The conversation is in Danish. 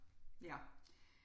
Ja